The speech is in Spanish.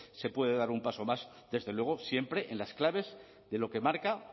se puede dar un paso más desde luego siempre en las claves de lo que marca